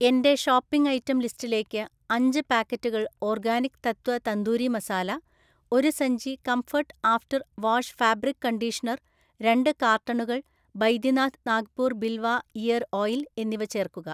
എന്‍റെ shopping item ലിസ്റ്റിലേക്ക് അഞ്ച് പാക്കറ്റുകൾ ഓർഗാനിക് തത്വ തന്തൂരി മസാല, ഒരു സഞ്ചി കംഫർട്ട് ആഫ്റ്റർ വാഷ്ഫാബ്രിക് കണ്ടീഷണർ രണ്ട് കാർട്ടണുകൾ ബൈദ്യനാഥ് നാഗ്പൂർ ബിൽവ ഇയർ ഓയിൽ എന്നിവ ചേർക്കുക